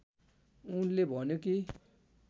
उनले भन्यो कि